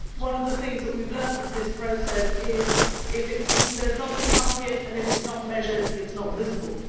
One of the things that we have learned in this process is that, if there is not a target and if it is not measured, it is not visible.